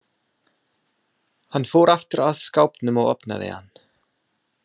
Hann fór aftur að skápnum og opnaði hann.